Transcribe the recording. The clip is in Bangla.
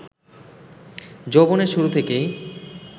যৌবনের শুরু থেকেই